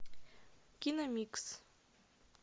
киномикс